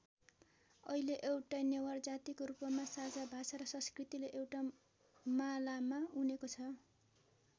अहिले एउटै नेवार जातिको रूपमा साझा भाषा र सस्कृतिले एउटा मालामा उनेको छ।